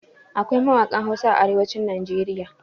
Akwai mawaƙan Hausa a arewacin Najeriya.